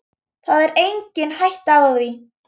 Það er engin hætta á því.